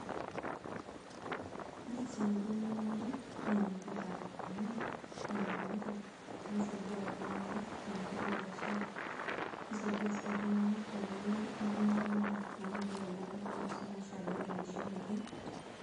Ore esiai nijo eneunore e enetipat amu ore enedukuya na kisaidia ltung'anak tenkoitoi ebiashara, kisaidia si ltung'anak tenkoitoi enkitumoto endaa anu mitoki anya ltung'anak esumash ataa etuunishoreki.